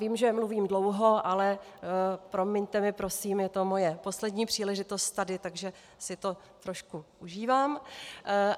Vím, že mluvím dlouho, ale promiňte mi prosím, je to moje poslední příležitost tady, takže si to trošku užívám.